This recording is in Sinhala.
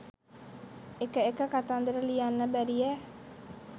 එක එක කතන්දර ලියන්න බැරියැ